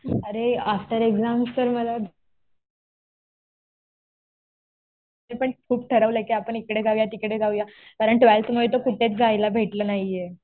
अरे after exams तर मला, मी पण खूप ठरवलं कि आपण इकडे जाऊया तिकडे जाऊया. कारण ट्वेल्थ मुळे तर कुठेच जायला भेटलं नाहीये.